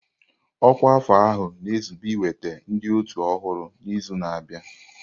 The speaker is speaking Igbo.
Ọkwa afọ ahụ na-ezube iweta ndị otu ọhụrụ n'izu na-abịa.